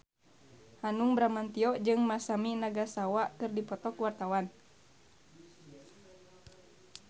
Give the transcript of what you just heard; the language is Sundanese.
Hanung Bramantyo jeung Masami Nagasawa keur dipoto ku wartawan